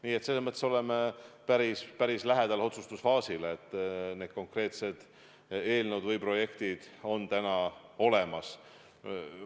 Nii et selles mõttes oleme päris lähedal otsustusfaasile, need konkreetsed projektid on täna olemas.